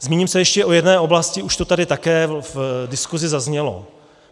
Zmíním se ještě o jedné oblasti, už to tady také v diskusi zaznělo.